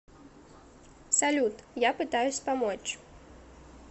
салют я пытаюсь помочь